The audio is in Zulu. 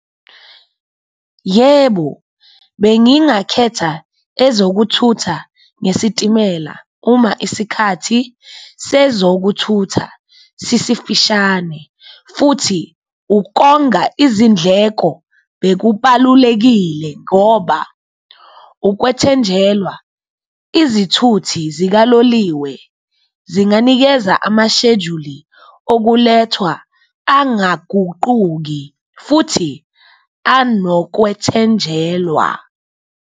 Yebo, bengingakhetha ezokuthutha ngesitimela uma isikhathi sezokuthutha sisifishane futhi ukonga izindleko bekubalulekile, ngoba ukwethenjelwa izithuthi zikaloliwe zinganikeza amashejuli okulethwa angaguquki futhi anokwethenjwelwa.